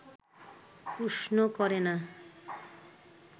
উষ্ণ করে না